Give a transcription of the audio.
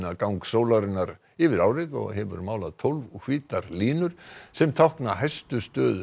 gang sólarinnar yfir árið og hefur málað tólf hvítar línur sem tákna hæstu stöðu